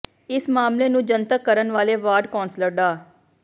ਇਸ ਮਾਮਲੇ ਨੂੰ ਜਨਤਕ ਕਰਨ ਵਾਲੇ ਵਾਰਡ ਕੌਸਲਰ ਡਾ